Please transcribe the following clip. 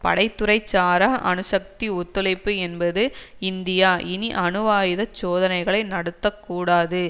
படை துறை சாரா அணுசக்தி ஒத்துழைப்பு என்பது இந்தியா இனி அணுவாயுதச் சோதனைகளை நடத்த கூடாது